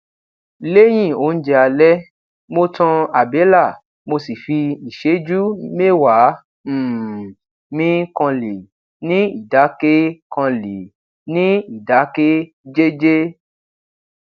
léyìn oúnjẹ ale mo tan àbélà mo sì fi ìṣéjú méwàá um mí kanlè ni idake kanlè ni idake jeje